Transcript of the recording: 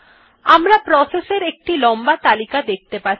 আমরা প্রসেস এর একটি লম্বা তালিকা দেখতে পাচ্ছি